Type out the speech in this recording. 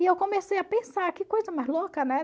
E eu comecei a pensar, que coisa mais louca, né?